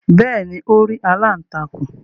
Bẹ́ẹ̀ni, Ó rí “aláǹtakùn".